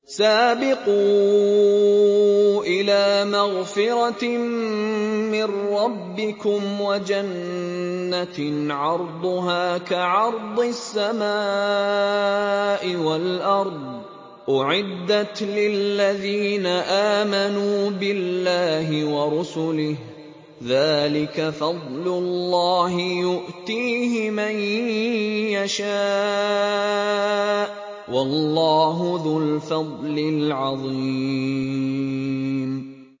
سَابِقُوا إِلَىٰ مَغْفِرَةٍ مِّن رَّبِّكُمْ وَجَنَّةٍ عَرْضُهَا كَعَرْضِ السَّمَاءِ وَالْأَرْضِ أُعِدَّتْ لِلَّذِينَ آمَنُوا بِاللَّهِ وَرُسُلِهِ ۚ ذَٰلِكَ فَضْلُ اللَّهِ يُؤْتِيهِ مَن يَشَاءُ ۚ وَاللَّهُ ذُو الْفَضْلِ الْعَظِيمِ